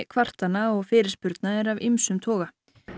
kvartana og fyrirspurna eru af ýmsum toga